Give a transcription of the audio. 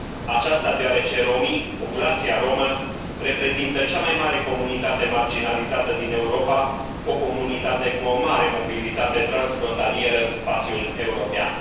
Aceasta deoarece romii, populația romă, reprezintă cea mai mare comunitate marginalizată din Europa, o comunitate cu o mare mobilitate transfrontalieră în spațiul european.